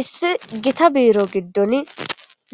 issi gita biiro giddon